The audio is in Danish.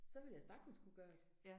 Så ville jeg sagtens kunne gøre det